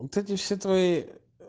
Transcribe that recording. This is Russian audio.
вот эти все твои